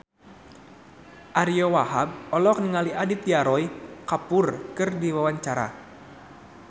Ariyo Wahab olohok ningali Aditya Roy Kapoor keur diwawancara